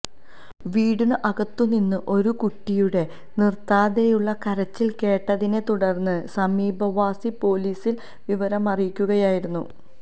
വീടിന് അകത്തുനിന്ന് ഒരു കുട്ടിയുടെ നിർത്താതെയുള്ള കരച്ചിൽ കേട്ടതിനെ തുടർന്ന് സമീപവാസി പൊലീസിൽ വിവരമറിയിക്കുകയായിരുന്നു